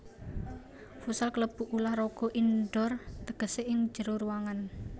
Futsal kalebu ulah raga indoor tegesé ing njero ruangan